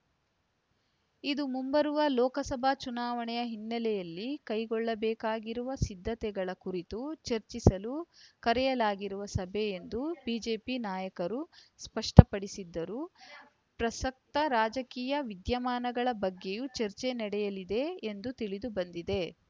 ಇದು ಮುಂಬರುವ ಲೋಕಸಭಾ ಚುನಾವಣೆಯ ಹಿನ್ನೆಲೆಯಲ್ಲಿ ಕೈಗೊಳ್ಳಬೇಕಾಗಿರುವ ಸಿದ್ಧತೆಗಳ ಕುರಿತು ಚರ್ಚಿಸಲು ಕರೆಯಲಾಗಿರುವ ಸಭೆ ಎಂದು ಬಿಜೆಪಿ ನಾಯಕರು ಸ್ಪಷ್ಟಪಡಿಸಿದ್ದರೂ ಪ್ರಸಕ್ತ ರಾಜಕೀಯ ವಿದ್ಯಮಾನಗಳ ಬಗ್ಗೆಯೂ ಚರ್ಚೆ ನಡೆಯಲಿದೆ ಎಂದು ತಿಳಿದು ಬಂದಿದೆ